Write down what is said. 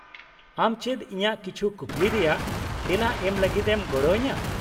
-ᱟᱢ ᱪᱮᱫ ᱤᱧᱟᱹᱜ ᱠᱤᱪᱷᱩ ᱠᱩᱠᱞᱤ ᱨᱮᱭᱟᱜ ᱛᱮᱞᱟ ᱮᱢ ᱞᱟᱹᱜᱤᱫ ᱮᱢ ᱜᱚᱲᱚ ᱟᱹᱧᱟᱹ ?